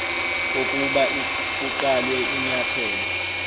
kokuba kuqalwe inyathelo